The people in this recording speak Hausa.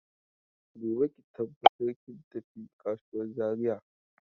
Gobe ki tabbata kin tafi kasuwan Zaria.